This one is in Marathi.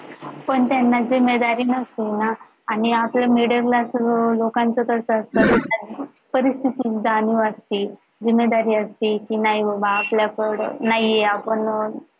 पण त्यांना जिम्मेदारी नसतील ना आणि आपलं middle class लोकांचं तर असं असत कधीच वाटते, जिम्मेदारी असते कि नाही बाबा आपल्या नाही आपण